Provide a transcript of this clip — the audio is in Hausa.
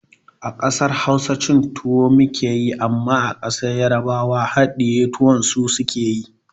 A ƙasar Hausa cin tuwo muke amma a ƙasar yarbawa haɗiye tuwon su suke yi